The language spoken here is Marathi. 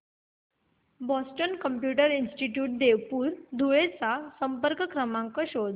Boston computer institute Deopur Dhule चा संपर्क क्रमांक शोध